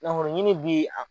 Nafolo ɲini bi a